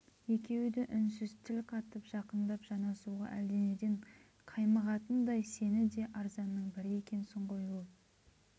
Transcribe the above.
екеуі де үнсіз тіл қатып жақындап жанасуға әлденеден қаймығатындай сені де арзанның бірі екенсің ғой ол